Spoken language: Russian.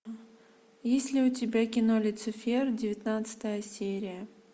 есть ли у тебя кино люцифер девятнадцатая серия